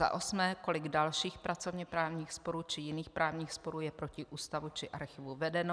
Za osmé, kolik dalších pracovněprávních sporů či jiných právních sporů je proti Ústavu či Archivu vedeno.